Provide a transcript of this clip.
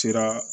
Sera